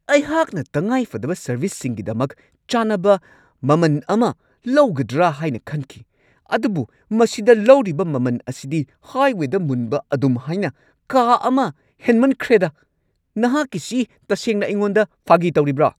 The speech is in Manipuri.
ꯑꯩꯍꯥꯛꯅ ꯇꯪꯉꯥꯏꯐꯗꯕ ꯁꯔꯚꯤꯁꯁꯤꯡꯒꯤꯗꯃꯛ ꯆꯥꯟꯅꯕ ꯃꯃꯟ ꯑꯃ ꯂꯧꯒꯗ꯭ꯔꯥ ꯍꯥꯏꯅ ꯈꯟꯈꯤ, ꯑꯗꯨꯕꯨ ꯃꯁꯤꯗ ꯂꯧꯔꯤꯕ ꯃꯃꯟ ꯑꯁꯤꯗꯤ ꯍꯥꯏꯋꯦꯗ ꯃꯨꯟꯕ ꯑꯗꯨꯝꯍꯥꯏꯅ ꯀꯥ ꯑꯃ ꯍꯦꯟꯃꯟꯈ꯭ꯔꯦꯗꯥ ! ꯅꯍꯥꯛꯀꯤꯁꯤ ꯇꯁꯦꯡꯅ ꯑꯩꯉꯣꯟꯗ ꯐꯥꯒꯤ ꯇꯧꯔꯤꯕ꯭ꯔꯥ?